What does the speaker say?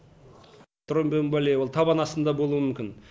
тромбоэмболия ол табан астында болуы мүмкін